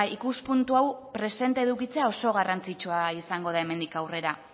ikuspuntu hau presente edukitzea oso garrantzitsua izango da hemendik aurrera